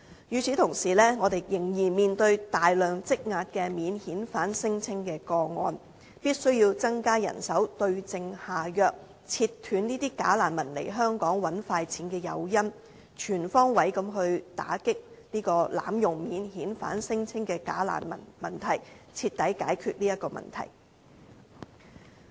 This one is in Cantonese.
與此同時，我們仍然面對大量積壓的免遣返聲稱個案，必須增加人手，對症下藥，切斷這些假難民來港賺快錢的誘因，全方位打擊濫用免遣返聲稱的假難民問題，徹底解決這個問題。